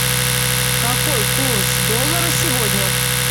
какой курс доллара сегодня